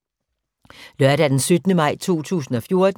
Lørdag d. 17. maj 2014